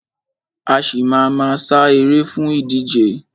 A ṣì má a ma sá eré fún ìdíje.